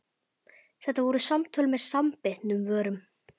Þetta voru samtöl með samanbitnum vörum.